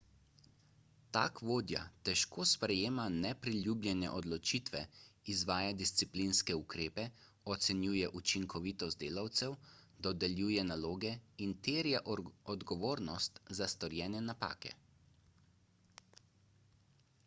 tak vodja težko sprejema nepriljubljene odločitve izvaja disciplinske ukrepe ocenjuje učinkovitost delavcev dodeljuje naloge in terja odgovornost za storjene napake